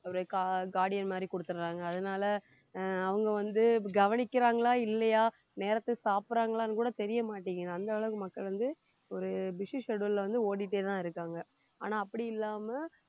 ஒரு gua~ guardian மாதிரி குடுத்துடுறாங்க அதனால அஹ் அவங்க வந்து கவனிக்கிறாங்களா இல்லையா நேரத்துக்கு சாப்பிடுறாங்களான்னு கூட தெரிய மாட்டேங்குது அந்த அளவுக்கு மக்கள் வந்து ஒரு busy schedule ல வந்து ஓடிட்டேதான் இருக்காங்க ஆனா அப்படி இல்லாம